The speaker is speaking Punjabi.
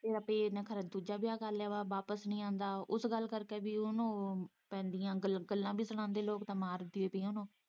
ਕਹਿੰਦੇ ਨੇ ਕੀ ਉਹ ਨੇ ਖੋਰੇ ਦੂਜਾ ਵਿਆਹ ਕਰ ਲਿਆ ਵਾ ਵਾਪਸ ਨੀ ਆਉਂਦਾ ਉਸ ਗੱਲ ਕਰਕੇ ਵੀ ਉਹਨੂੰ ਪੈਂਦੀਆਂ ਗੱਲਾਂ ਵੀ ਸੁਣਾਉਂਦੇ ਲੋਕ ਤੇ ਮਾਰ-ਪੀਟ ਵੀ।